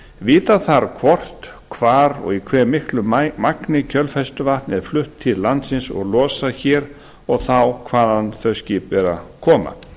vita þarf hvort hvar og í hve miklu magni kjölfestuvatn er flutt til landsins og losað hér og þá hvaðan þau skip eru að koma